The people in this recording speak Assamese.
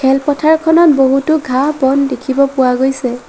খেলপথাৰখনত বহুতো ঘাঁহ-বন দেখিব পোৱা গৈছে।